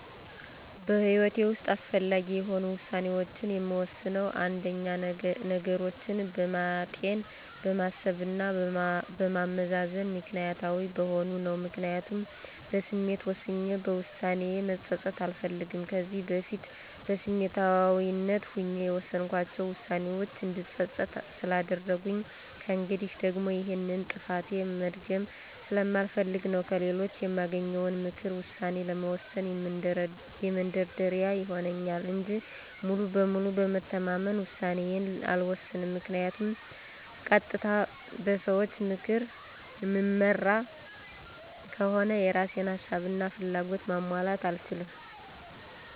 በህይወቴ ውሰጥ አስፈላጊ የሆኑ ውሳኔዎችን የምወስነው አንደኛ፦ ነገሮችን በማጤን፣ በማሰብ እና በማመዛዘን ምክኒያታዊ በመሆን ነው። ምክንያቱም በስሜት ወስኜ በውሳኔዬ መፀፀት አልፈልግም። ከዚህ በፊት በስሜታዊነት ሆኜ የወሰንኳቸው ዉሳኔዎቼ እንድፀፀት ስላደረጉኝ ከእንግዲህም ደግሞ ይሄንን ጥፋቴ መድገም ስለማልፈልግ ነው። ከሌሎች የማገኘውንም ምክር ውሳኔ ለመወሰን መንደርደሪያ ይሆንልኛል እንጂ ሙሉ በሙሉ በመተማመን ውሳኔዬን አልወሰንም ምክንያቱም ቀጥታ በሰዎች ምክር እምመራ ከሆነ የእራሴን ሀሳብ እና ፍላጎት ማሟላት አልችልም።